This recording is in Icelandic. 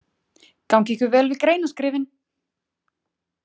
Gangi ykkur vel við greinaskrifin!